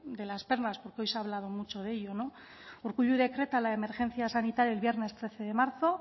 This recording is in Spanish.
de las perlas porque hoy se ha hablado mucho ello urkullu decreta la emergencia sanitaria el viernes trece de marzo